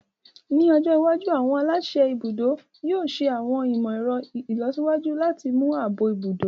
Ní ọjọ́ iwájú, àwọn aláṣẹ ibùdó yóò ṣẹ àwọn ìmọ̀ ẹ̀rọ ìlọsíwájú láti mú ààbò ibùdó